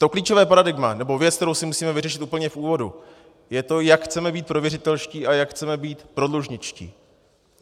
To klíčové paradigma, nebo věc, kterou si musíme vyřešit úplně v úvodu, je to, jak chceme být prověřitelští a jak chceme být prodlužničtí.